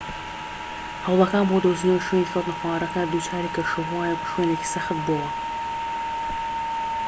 هەوڵەکان بۆ دۆزینەوەی شوێنی کەوتنەخوارەوەکە دووچاری کەشوهەوایەك و شوێنێکی سەخت بۆوە